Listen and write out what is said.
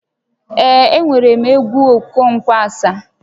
Ee, enwerem egwu Okonkwo Asaá